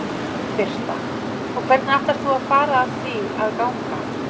Birta: Og hvernig ætlar þú að fara að því að ganga?